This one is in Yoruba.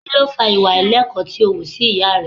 Kí ló fa ìwà àìlẹ́kọ̀ọ́ tí ó wù sí ìyá rẹ?